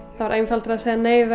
var einfaldara að segja nei við